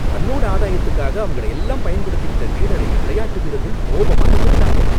தன்னோட ஆதாயத்துக்காக அவங்களையெல்லாம் பயன்படுத்திக்கிட்ட லீடரை விளையாட்டு வீரர்கள் கோபமா எதிர்த்தாங்க.